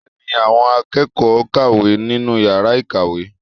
Bẹ́ẹ̀ ni, àwọn akẹ́kọ̀ọ́ ń kàwé nínú yàrá ìkàwé